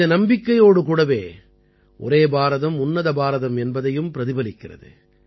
இது நம்பிக்கையோடு கூடவே ஒரே பாரதம் உன்னத பாரதம் என்பதையும் பிரதிபலிக்கிறது